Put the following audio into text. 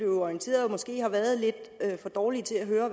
orienteret og måske har været lidt for dårlige til at høre